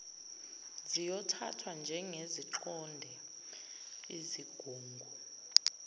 ziyothathwa njengeziqonde izigungu